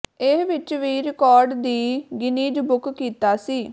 ਇਹ ਵਿੱਚ ਵੀ ਰਿਕਾਰਡ ਦੀ ਗਿੰਨੀਜ਼ ਬੁੱਕ ਕੀਤਾ ਸੀ